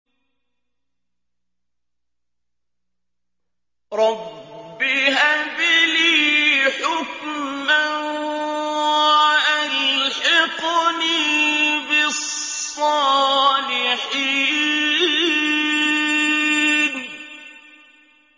رَبِّ هَبْ لِي حُكْمًا وَأَلْحِقْنِي بِالصَّالِحِينَ